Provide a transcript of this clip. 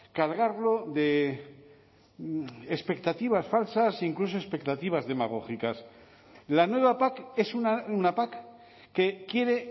cargarlo de expectativas falsas incluso expectativas demagógicas la nueva pac es una pac que quiere